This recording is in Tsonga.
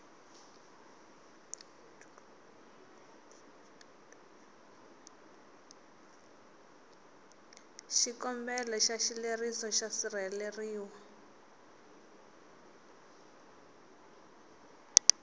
xikombelo xa xileriso xo sirheleriwa